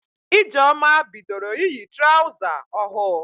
Ijeoma bidoro iyi traụza ohụụ.